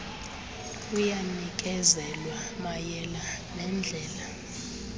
luyanikezelwa mayela neendlela